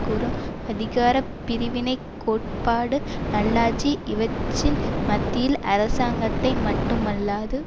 கூறும் அதிகார பிரிவினை கோட்பாடு நல்லாட்சி இவற்றின் மத்தியில் அரசாங்கத்தை மட்டுமல்லாது